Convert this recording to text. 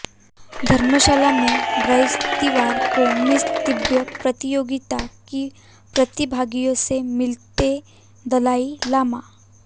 धर्मशाला में बृहस्पतिवार को मिस तिब्बत प्रतियोगिता की प्रतिभागियों से मिलते दलाई लामा